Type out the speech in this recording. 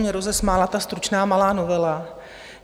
Mě rozesmála ta stručná malá novela.